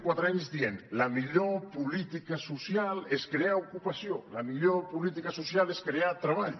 anys que diem la millor política social és crear ocupació la millor política social és crear treball